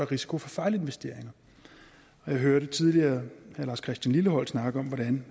risiko for fejlinvesteringer og jeg hørte tidligere herre lars christian lilleholt snakke om hvordan